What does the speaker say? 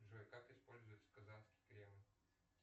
джой как используется казанский кремль